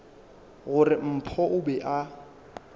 gore mpho o be a